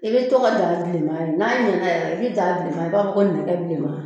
I bɛ to ka daga bilenma ye n'a ɲɛna yɛrɛ i bɛ daa bilen ye i b'a fɔ nɛgɛ bilenman